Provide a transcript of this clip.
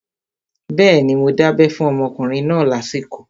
Bẹ́ẹ̀ni, mo dábẹ́ fún ọmọkùnrin náà lásìkò